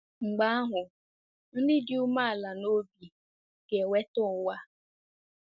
Mgbe ahụ, “ndị dị umeala n’obi ga-enweta ụwa.”